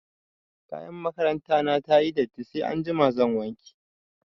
Kayan makaranta na ta yi datti sai anjima zan wanke.